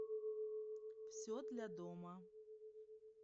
все для дома